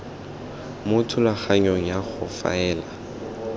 mo thulaganyong ya go faela